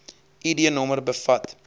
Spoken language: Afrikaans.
id nommer bevat